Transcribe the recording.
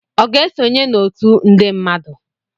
Ọ ga-esonye n'otu nde mmadụ